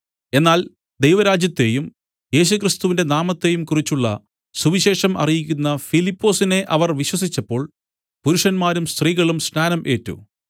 എന്നാൽ ദൈവരാജ്യത്തെയും യേശുക്രിസ്തുവിന്റെ നാമത്തെയും കുറിച്ചുള്ള സുവിശേഷം അറിയിക്കുന്ന ഫിലിപ്പൊസിനെ അവർ വിശ്വസിച്ചപ്പോൾ പുരുഷന്മാരും സ്ത്രീകളും സ്നാനം ഏറ്റു